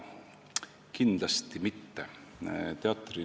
Kindlasti mitte!